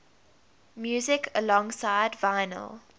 music alongside vinyl